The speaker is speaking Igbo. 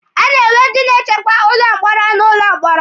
A na-enwe ndị na-echekwa ụlọ mkpọrọ n'ụlọ mkpọrọ.